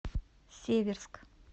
северск